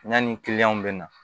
Yanni bɛ na